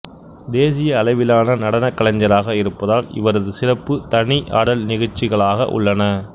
தேசிய அளவிலான நடனக் கலைஞராக இருப்பதால் இவரது சிறப்பு தனி ஆடல் நிகழ்ச்சிகளாக உள்ளன